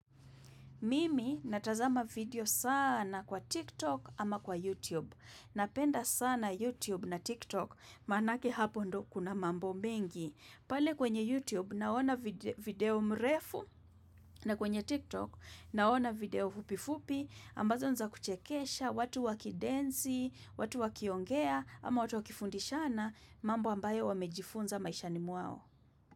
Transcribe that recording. Mimi natazama video sana kwa TikTok ama kwa YouTube. Napenda sana YouTube na TikTok maanake hapo ndio kuna mambo mingi. Pale kwenye YouTube naona video mrefu na kwenye TikTok naona video fupi-fupi ambazo nza kuchekesha watu wakidensi, watu wakiongea ama watu wakifundishana mambo ambayo wamejifunza maisha ni mwao.